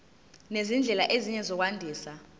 nezindlela ezinye zokwandisa